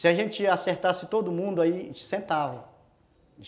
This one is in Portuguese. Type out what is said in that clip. Se a gente acertasse todo mundo, ai sentava.